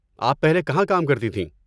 آپ پہلے کہاں کام کرتی تھیں؟